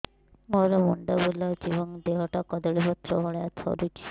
ମୋର ମୁଣ୍ଡ ବୁଲାଉଛି ଏବଂ ଦେହଟା କଦଳୀପତ୍ର ଭଳିଆ ଥରୁଛି